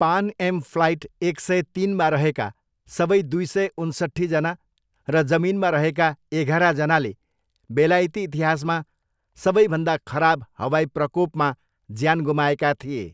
पान Am flight एक सय तिनमा रहेका सबै दुई सय उन्सट्ठीजना र जमिनमा रहेका एघारजनाले बेलायती इतिहासमा सबैभन्दा खराब हवाई प्रकोपमा ज्यान गुमाएका थिए।